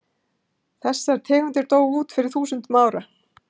Þessar tegundir dóu út fyrir þúsundum ára.